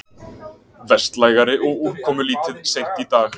Vestlægari og úrkomulítið seint í dag